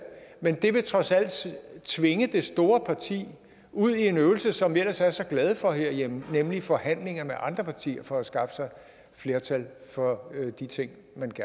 men det vil trods alt tvinge det store parti ud i en øvelse som vi ellers er så glade for herhjemme nemlig forhandlinger med andre partier for at skaffe sig flertal for de ting